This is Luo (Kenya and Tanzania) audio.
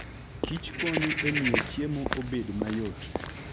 kich konyo e miyo chiemo obed mayot.